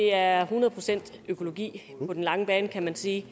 er hundrede procent økologi på den lange bane kan man sige